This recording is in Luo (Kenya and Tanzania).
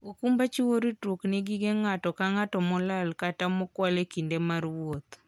okumba chiwo ritruok ne gige ng'ato ka ng'ato molal kata mokwal e kinde mar wuoth.